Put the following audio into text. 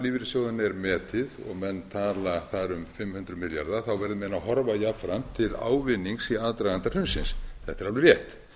lífeyrissjóðanna er metið og menn tala þar um fimm hundruð milljarða þá verði menn að horfa jafnframt til ávinnings í aðdraganda hrunsins þetta er alveg rétt